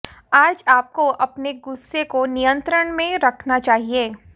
आज आपको अपने गुस्से को नियंत्रण में रखना चाहिए